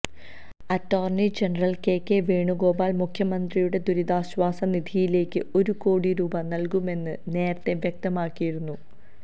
attorney general K K Venugopal മുഖ്യമന്ത്രിയുടെ ദുരിതാശ്വാസ നിധിയിലേക്ക് ഒരു കോടി രൂപ നല്കുമെന്ന് നേരത്തെ വ്യക്തമാക്കിയിരുന്നു